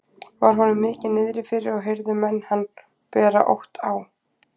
Var honum mikið niðri fyrir og heyrðu menn hann bera ótt á.